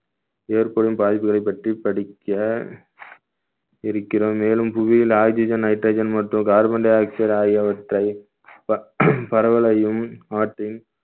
ஏற்படும் பாதிப்புகளைப் பற்றி படிக்க இருக்கிறோம் மேலும் புவியில் oxygen, nitrogen மற்றும் carbon dioxide ஆகியவற்றை ப~ பரவலையும் ஆற்றின்